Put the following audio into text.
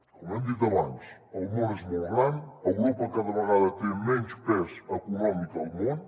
com hem dit abans el món és molt gran europa cada vegada té menys pes econòmic al món